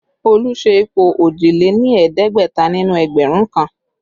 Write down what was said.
Olu ṣe ipò òjìléní-ẹ̀ẹ́dẹ́gbẹ̀ta nínú ẹgbẹ̀rún kan